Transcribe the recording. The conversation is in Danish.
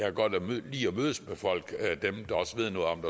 er godt lige at mødes med folk dem der også ved noget om